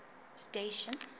station